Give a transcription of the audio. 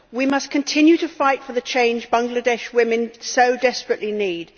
We must continue to fight for the change Bangladeshi women so desperately need.